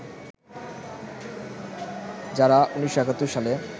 যারা ১৯৭১ সালে